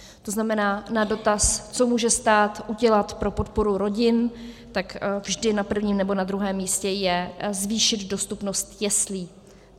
To znamená, na dotaz, co může stát udělat pro podporu rodin, tak vždy na prvním nebo na druhém místě je zvýšit dostupnost jeslí.